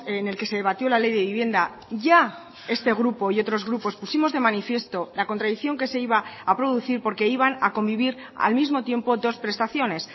en el que se debatió la ley de vivienda ya este grupo y otros grupos pusimos de manifiesto la contradicción que se iba a producir porque iban a convivir al mismo tiempo dos prestaciones